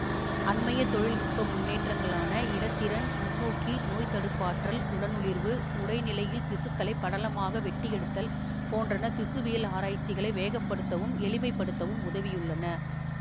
அண்மைய தொழில் நுட்ப முன்னேற்றங்களான இலத்திரன் நுண்நோக்கி நோய்த்தடுப்பாற்றல் உடனொளிர்வு உறைநிலையில் திசுக்களைப் படலமாக வெட்டியெடுத்தல் போன்றன திசுவியல் ஆராய்ச்சிகளை வேகப்படுத்தவும் எளிமை படுத்தவும் உதவியுள்ளன